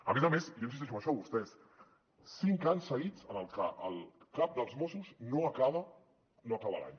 a més a més jo insisteixo en això vostès cinc anys seguits en els que el cap dels mossos no acaba l’any